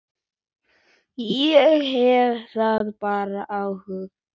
Ég hafði það bara ágætt.